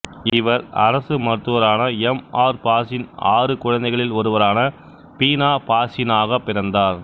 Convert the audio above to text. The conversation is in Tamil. இவர் அரசு மருத்துவரான எம் ஆர் பாசின் ஆறு குழந்தைகளில் ஒருவரான பீனா பாசினாக பிறந்தார்